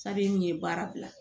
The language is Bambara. min ye baara bila